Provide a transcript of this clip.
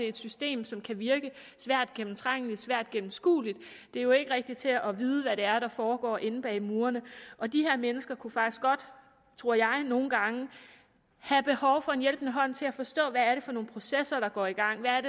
i et system som kan virke svært gennemtrængeligt svært gennemskueligt det er jo ikke rigtigt til at vide hvad det er der foregår inde bag murene og de her mennesker kunne faktisk godt tror jeg nogle gange have behov for en hjælpende hånd til at forstå hvad det er for nogle processer der går i gang hvad